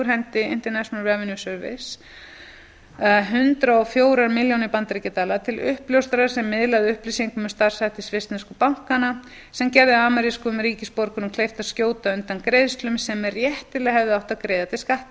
hendi internal revenue service hundrað og fjögur milljónir bandaríkjadala til uppljóstrara sem miðlaði upplýsingum um starfshætti svissneskra bankanna sem gerðu amerískum ríkisborgurum kleift að skjóta undan greiðslum sem réttilega hefði átt